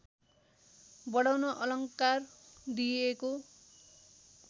बढाउन अलङ्कार दिएको